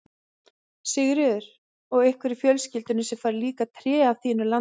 Sigríður: Og einhver í fjölskyldunni sem fær líka tré af þínu landi?